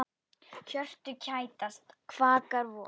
Hjörtu kætast, kvakar vor.